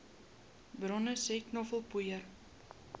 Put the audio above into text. bronne sê knoffelpoeier